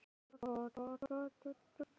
Marela, hvenær kemur strætó númer fjórtán?